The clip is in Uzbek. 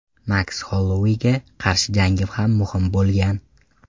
Maks Holloueyga qarshi jangim ham muhim bo‘lgan.